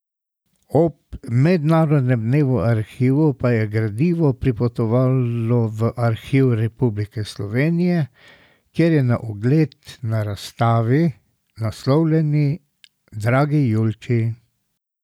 Ob mednarodnem dnevu arhivov pa je gradivo pripotovalo v Arhiv Republike Slovenije, kjer je na ogled na razstavi, naslovljeni Dragi Julči!